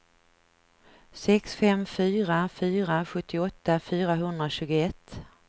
sex fem fyra fyra sjuttioåtta fyrahundratjugoett